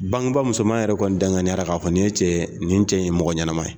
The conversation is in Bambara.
Bangebaa musoman yɛrɛ kɔni dankaniyara k'a fɔ nin cɛ nin cɛ ye mɔgɔ ɲɛnama ye.